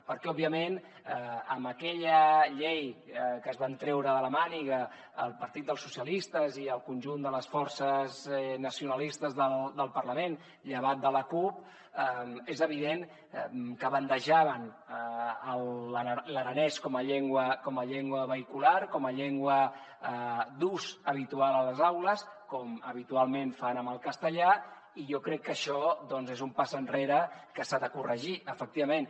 perquè òbviament amb aquella llei que es van treure de la màniga el partit dels socialistes i el conjunt de les forces nacionalistes del parlament llevat de la cup és evident que bandejaven l’aranès com a llengua vehicular com a llengua d’ús habitual a les aules com habitualment fan amb el castellà i jo crec que això és un pas enrere que s’ha de corregir efectivament